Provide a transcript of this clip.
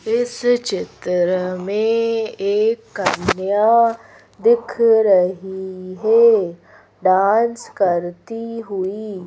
इस चित्र में एक कन्या दिख रही है डांस करती हुई।